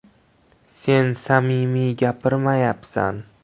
“Sen samimiy gapirmayapsan.